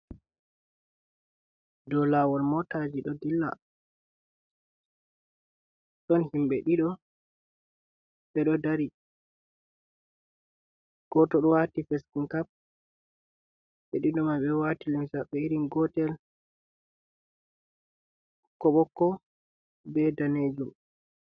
Dow laawol mootaji ɗo dilla, ɗon himbe ɗiɗo ɓe ɗo dari, gooto ɗo waati fesinkap, ɓe ɗiɗo may ɓe waati limse maɓɓe irin gotel, ɓokko ɓokko be daneejum.